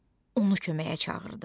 Onu köməyə çağırdı.